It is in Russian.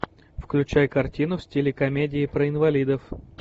включай картину в стиле комедии про инвалидов